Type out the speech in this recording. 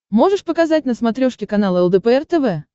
можешь показать на смотрешке канал лдпр тв